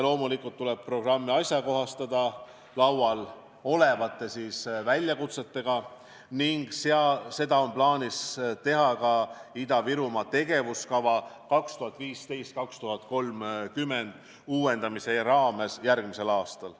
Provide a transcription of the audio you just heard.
Loomulikult tuleb programmi ajakohastada uute väljakutsetega ning seda on plaanis teha ka Ida-Virumaa tegevuskava uuendamise raames järgmisel aastal.